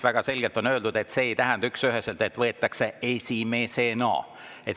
Väga selgelt öeldi, et see ei tähenda üksüheselt, et võetakse esimesena.